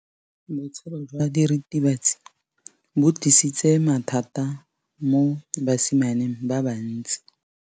Botshelo jwa diritibatsi ke bo tlisitse mathata mo basimaneng ba bantsi.